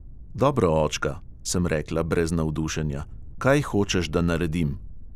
"Dobro, očka," sem rekla brez navdušenja, "kaj hočeš, da naredim?"